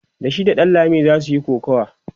da shi da ɗanlami zasu Yi kokawa